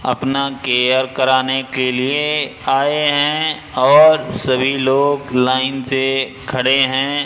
अपना केयर कराने के लिए आए हैं और सभी लोग लाइन से खड़े हैं।